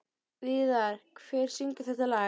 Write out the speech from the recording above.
Víðar, hver syngur þetta lag?